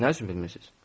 Nə üçün bilmirsiniz?